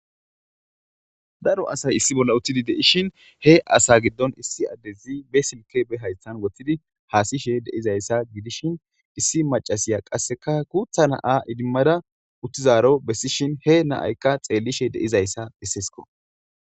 daro asay issi bolla uttidi de7ishin he asa giddon issi addezi be silke be haystan woththidi haasishe de7izayssa gidishin issi macasiya qasseka guutha na7a idimmada uttizaaro bessishin he na7aykka xeellishe de7izayssa bessesko